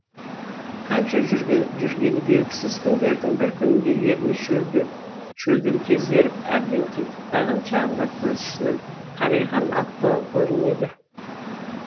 қанша жүргені белгісіз күндердің бір күнінде ерні шөлден кезеріп әбден титықтаған шағында көз ұшынан қарайған атты көрінеді